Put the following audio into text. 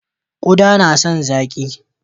Ƙuda yana son zaƙi.